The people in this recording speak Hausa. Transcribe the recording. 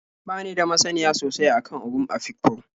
Ba ni da masaniya sosai a kan Ogon Afikpo.